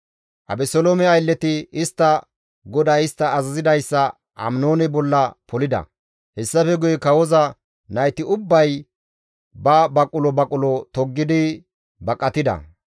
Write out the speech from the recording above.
Abeseloome aylleti istta goday istta azazidayssa Aminoone bolla polida; hessafe guye kawoza nayti ubbay ba baqulo baqulo toggidi baqatida.